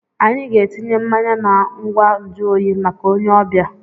Anyị ga-etinye mmanya na ngwa nju oyi maka onye ọbịa.